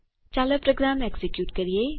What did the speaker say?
ચાલો program execute કરો